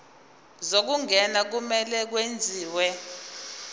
zokungena kumele kwenziwe